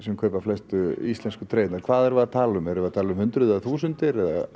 kaupa flestu íslensku hvað erum við að tala um erum við að tala um hundruð eða þúsundir